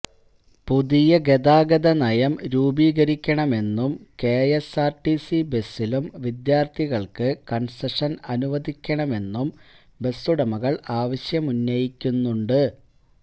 പുതിയ ഗതാഗത നയം രൂപീകരിക്കണമെന്നും കെഎസ്ആര്ടിസി ബസിലും വിദ്യാര്ത്ഥികള്ക്ക് കണ്സെഷന് അനുവദിക്കണമെന്നും ബസ്സുടമകള് ആവശ്യമുന്നയിക്കുന്നുണ്ട്